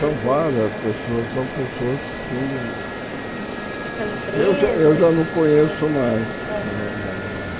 São várias pessoas, são pessoas assim que Uhum são empresas ei já eu já não conheço mais, mais ou menos.